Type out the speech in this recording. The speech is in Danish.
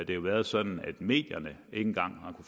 jo været sådan at medierne ikke engang har